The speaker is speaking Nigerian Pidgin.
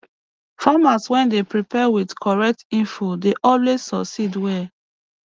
farmers wey dey prepare with correct info dey always succeed well